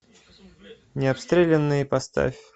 необстрелянные поставь